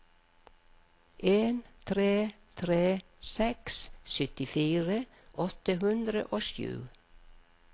en tre tre seks syttifire åtte hundre og sju